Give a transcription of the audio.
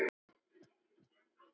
Þetta snýst ekkert um ást.